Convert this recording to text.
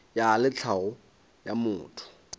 ya le tlhago ya motho